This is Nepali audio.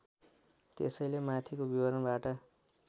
त्यसैले माथिको विवरणबाट